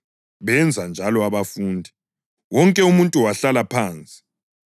Benza njalo abafundi, wonke umuntu wahlala phansi.